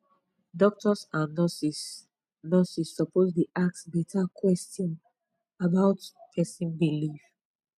doctors and nurses nurses suppose dey ask better question about person belief